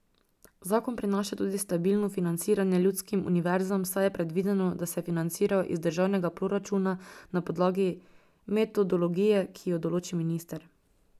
Zakon prinaša tudi stabilno financiranje ljudskim univerzam, saj je predvideno, da se financirajo iz državnega proračuna na podlagi metodologije, ki jo določi minister.